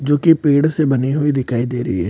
जो कि पेड़ से बने हुए दिखाई दे रही है।